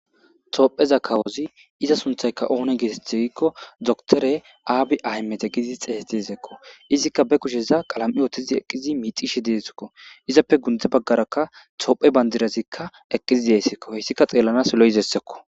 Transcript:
toopheza kawozi iza sunthayka oone geeteth giikko doktore aabi aymete gidi xeeteezekko izikka be kusheza qalam7i ootizi eqqizi miixishi desekko izappe gundze baggaraka toophe bandirazikka eqqizi deessekko heyssika xeellanas lo7izessekko